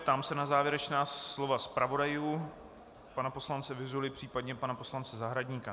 Ptám se na závěrečná slova zpravodajů, pana poslance Vyzuly, případně pana poslance Zahradníka.